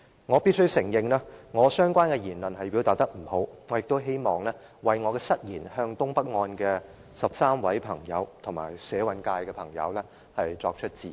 我必須承認，我的相關言論表達欠佳，我也希望為我的失言向東北案的13位朋友和社運界的朋友致歉。